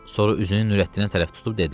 Sonra üzünü Nurəddinə tərəf tutub dedi: